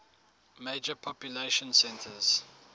major population centers